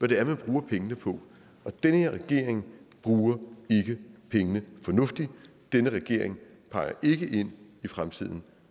det er man bruger pengene på og den her regering bruger ikke pengene fornuftigt denne regering peger ikke ind i fremtiden